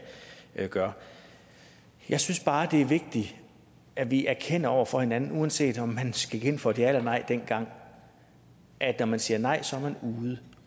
gør jeg synes bare det er vigtigt at vi erkender over for hinanden uanset om man gik ind for et ja eller nej dengang at når man siger nej så er man ude